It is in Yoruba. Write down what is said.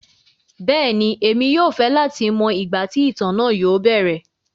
Bẹẹni, emi yóò fẹ lati mọ igba ti itan naa yóò bẹrẹ.